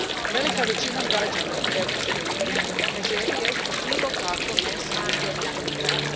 Velika većina građana Europske unije ne želi jesti bilo kakvo meso uzgojeno kloniranjem.